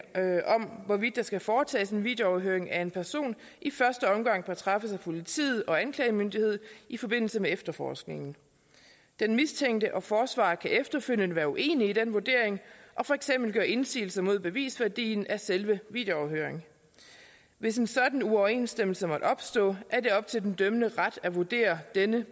af hvorvidt der skal foretages en videoafhøring af en person i første omgang bør træffes af politiet og anklagemyndigheden i forbindelse med efterforskningen den mistænkte og forsvaret kan efterfølgende være uenige i den vurdering og for eksempel gøre indsigelse mod bevisværdien af selve videoafhøringen hvis en sådan uoverensstemmelse måtte opstå er det op til den dømmende ret at vurdere den